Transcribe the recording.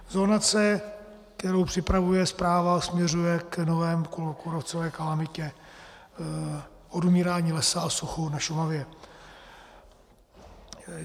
Zonace, kterou připravuje správa, směřuje k nové kůrovcové kalamitě, odumírání lesa a suchu na Šumavě.